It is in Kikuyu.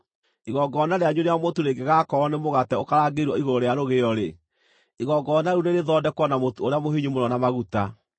Igongona rĩanyu rĩa mũtu rĩngĩgakorwo nĩ mũgate ũkarangĩirwo igũrũ rĩa rũgĩo-rĩ, igongona rĩu nĩrĩthondekwo na mũtu ũrĩa mũhinyu mũno na maguta.